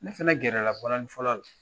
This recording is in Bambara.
Ne fɛnɛ gɛrɛ la balanin fɔlɔw la.